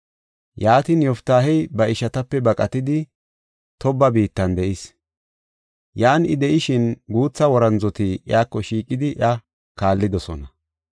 Yaatin, Yoftaahey ba ishatape baqatidi, Tooba biittan de7is. Yan I de7ishin guutha worandzoti iyako shiiqidi iya kaallidosona.